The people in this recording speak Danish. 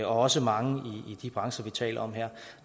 også mange i de brancher vi taler om her